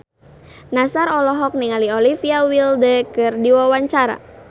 Nassar olohok ningali Olivia Wilde keur diwawancara